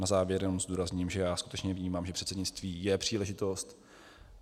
Na závěr jenom zdůrazním, že já skutečně vnímám, že předsednictví je příležitost.